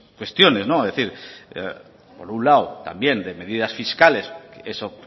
cuestiones es decir por un lado también de medidas fiscales eso